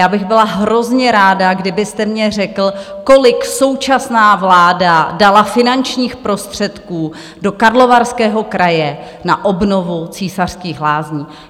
Já bych byla hrozně ráda, kdybyste mně řekl, kolik současná vláda dala finančních prostředků do Karlovarského kraje na obnovu Císařských lázní.